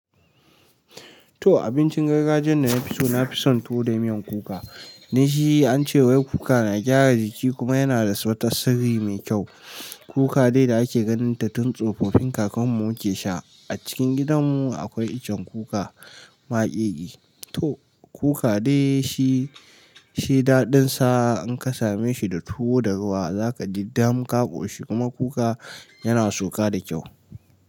To abincin gargajiyan da na fi so nafi son tuwo da miyan kuka. Dan shi, ance wai kuka na gyara jiki kuma yana da wata sirri mai kyau. Kuka dai da ake ganin ta tun tsofaffin kakan mu muke sha. A cikin gidan mu akwai icen kuka makegi. To kuka dai shi, shi daɗin sa in ka same shi da tuwo da ruwa za ka ji dam ka ƙoshi kuma kuka yana sauka da kyau.